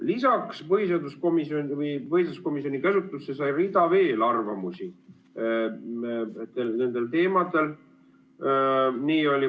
Lisaks jõudis põhiseaduskomisjoni käsutusse veel rida arvamusi nendel teemadel.